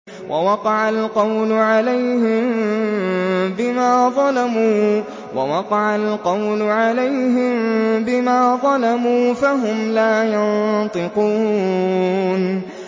وَوَقَعَ الْقَوْلُ عَلَيْهِم بِمَا ظَلَمُوا فَهُمْ لَا يَنطِقُونَ